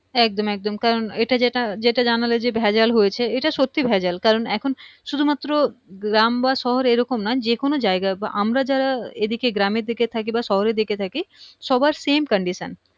একদম একদম কারণ এটা যেটা যেটা জানালে যে ভেজাল হয়েছে এইটা সত্যি ভেজাল কারণ এখন শুধু মাত্র গ্রাম বা শহরে এইরকম না যেকোনো জায়গায় বা আমরা যারা এইদিকে গ্রামের দিকে থাকি বা শহরের দিকে থাকি সবার same condition